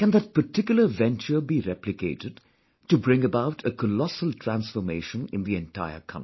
Can that particular venture be replicated to bring about a colossal transformation in the entire country